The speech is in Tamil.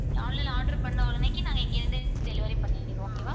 online ல order பண்ண உடனேக்கி நாங்க இங்க இருந்து delivery பண்ணிக்கிருவோம்.